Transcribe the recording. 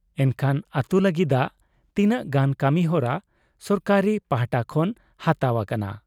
ᱮᱱᱠᱷᱟᱱ ᱟᱹᱛᱩ ᱞᱟᱹᱜᱤᱰᱟᱜ ᱛᱤᱱᱟᱹᱜ ᱜᱟᱱ ᱠᱟᱹᱢᱤ ᱦᱚᱨᱟ ᱥᱚᱨᱠᱟᱨ ᱯᱟᱦᱴᱟ ᱠᱷᱚᱱ ᱦᱟᱛᱟᱣ ᱟᱠᱟᱱᱟ ᱾